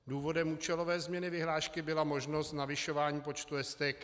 Důvodem účelové změny vyhlášky byla možnost navyšování počtu STK.